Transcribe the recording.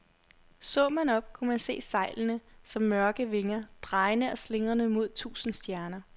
Så man op, kunne man se sejlene som mørke vinger, drejende og slingrende mod tusinde stjerner.